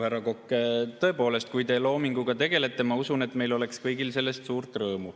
Tõepoolest, ma usun, et kui teie loominguga tegelete, siis meil kõigil on sellest suur rõõm.